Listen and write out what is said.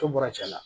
To bɔra cɛn na